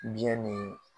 Biyɛn ni